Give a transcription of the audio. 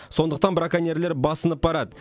сондықтан браконьерлер басынып барады